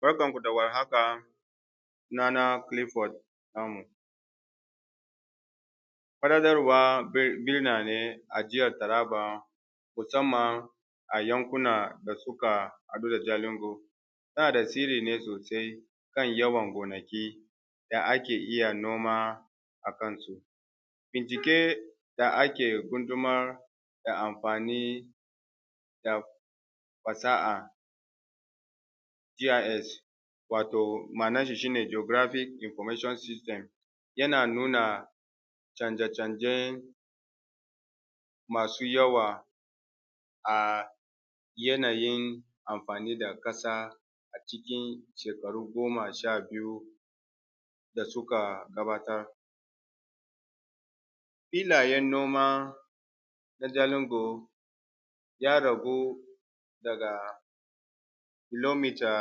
Barkanku da warhaka. sunana Clifford Namu, birane a jihar Taraba musamman a yankuna da suka haɗu da Jalingo suna tasiri ne sosai akan yawan gonaki da ake iya noma akansu. Bincike da ake gunjumar da amfani da fasaha GIS wato ma’ana shi shi ne Geographic Information System yana nuna canje-canje masu yawa a yanayi amfani da ƙasa a cikin shekaru goma sha biyu da suka gabatar. filayen gona na Jalingo ya ragu daga kilometer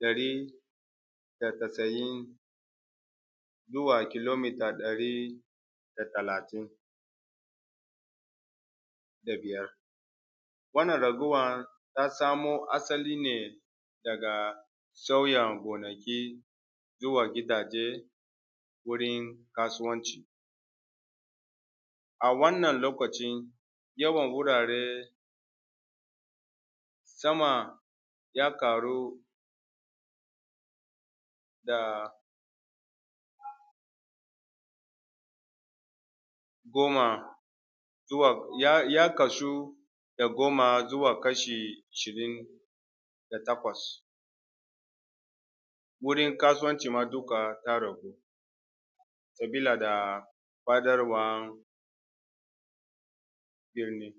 ɗari da casa’in zuwa kilometer ɗari da talatin da biyar. wannan raguwar ta samo asali ne daga sauya gonaki zuwa gidaje, wurin kasuwanci a wannan lokacin yawan wurare sama ya ƙaru da goma zuwa ya ya kasu da goma zuwa kashi ishirin da takwas wurin kasuwanci ma duka ta ragu sabila da birni.